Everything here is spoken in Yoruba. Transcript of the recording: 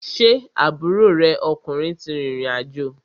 Ṣé aburo rẹ ọkùnrin ti rìrìn àjò?